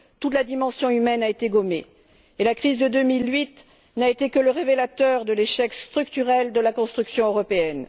Toute la dimension humaine a été gommée, et la crise de 2008 n'a été que le révélateur de l'échec structurel de la construction européenne.